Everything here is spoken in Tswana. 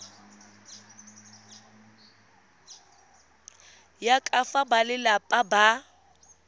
ya ka fa balelapa ba